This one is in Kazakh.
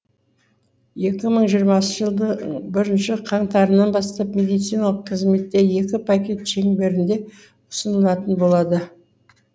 екі мың жиырмасыншы жылдың бірінші қаңтарынан бастап медициналық қызметтер екі пакет шеңберінде ұсынылатын болады